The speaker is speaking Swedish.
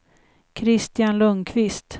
Kristian Lundquist